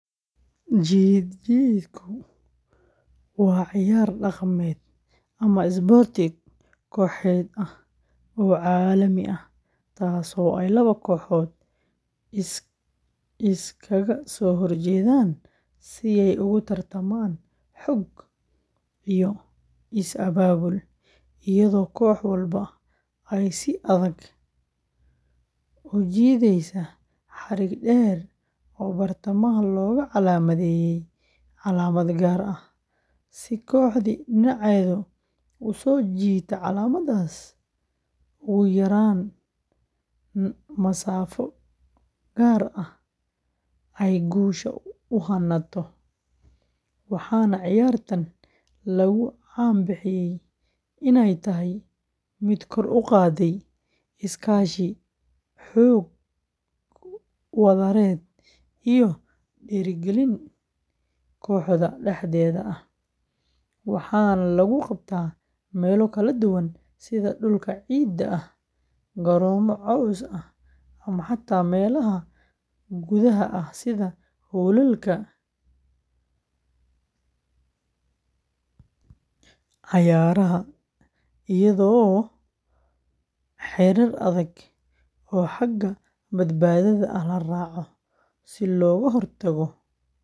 Jiid-jiidku waa ciyaar dhaqameed ama isboorti kooxeed ah oo caalami ah, taasoo ay laba kooxood iskaga soo horjeedaan si ay ugu tartamaan xoog iyo is abaabul, iyadoo koox walba ay si adag u jiidaysa xarig dheer oo bartamaha looga calaamadeeyay calaamad gaar ah, si kooxdii dhinaceeda u soo jiidata calaamaddaas ugu yaraan masaafo gaar ah ay guusha u hanato, waxaana ciyaartan lagu caan baxay inay tahay mid kor u qaadda iskaashi, xoog wadareed iyo dhiirigelin kooxda dhexdeeda ah, waxaana lagu qabtaa meelo kala duwan sida dhulka ciidda ah, garoomo caws ah ama xataa meelaha gudaha ah sida hoolalka cayaaraha, iyadoo xeerar adag oo xagga badbaadada ah la raaco, si looga hortago.